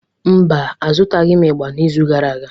Mba, azụtaghị m ịgbà n'izu gara aga.